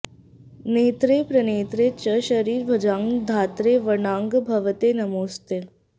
नेत्रे प्रनेत्रे च शरीरभाजां धात्रे वराणां भवते नमोऽस्ते